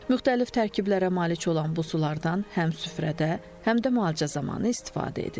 Müxtəlif tərkiblərə malik olan bu sulardan həm süfrədə, həm də müalicə zamanı istifadə edilir.